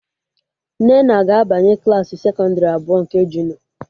Nnenna ga-abanye Klassị sekọndrị abụọ nke junịọ